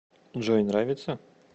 джой нравится